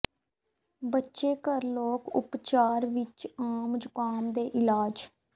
ਬੱਚੇ ਘਰ ਲੋਕ ਉਪਚਾਰ ਵਿੱਚ ਆਮ ਜ਼ੁਕਾਮ ਦੇ ਇਲਾਜ